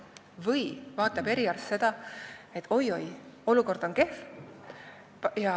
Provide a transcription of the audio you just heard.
Või vaatab eriarst seda, et oi-oi, olukord on kehv.